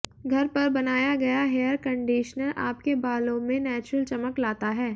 घर पर बनाया गया हेयर कंडीशनर आपके बालों में नैचुरल चमक लाता है